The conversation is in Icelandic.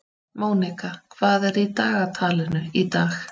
Mónika, hvað er í dagatalinu í dag?